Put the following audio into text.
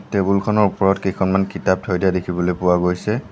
Table খনৰ ওপৰত কেইখনমান কিতাপ থৈ দিয়া দেখিবলৈ পোৱা গৈছে।